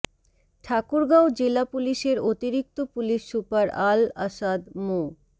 ঠাকুরগাঁও জেলা পুলিশের অতিরিক্ত পুলিশ সুপার আল আসাদ মো